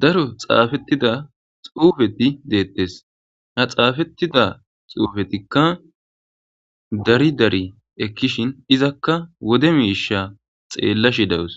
daro xaafettida xuufeti deettes ha xaafettida xuufetikka dari dari ekkishin izakka wode miisha xeellashi dawus